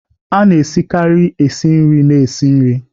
A na-esikarị esi nri na-esi nri